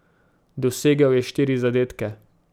Dosegel je štiri zadetke.